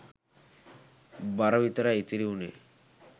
බර විතරයි ඉතිරි වුනේ.